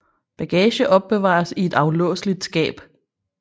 Bagage opbevares i et aflåseligt skab